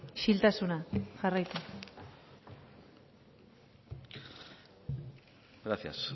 isiltasuna jarraitu gracias